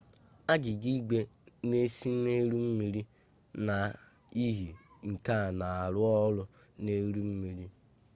agịga igwe n'ese n'elu mmiri n'ihi ike n'arụ ọrụ n'elu mmiri